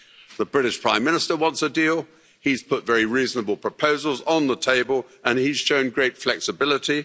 The British Prime Minister wants a deal, he's put very reasonable proposals on the table and he has shown great flexibility.